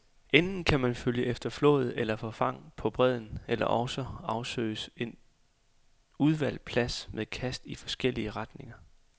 Enten kan man følge efter flåd eller forfang på bredden, eller også afsøges en udvalgt plads med kast i forskellige retninger.